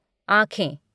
आँखें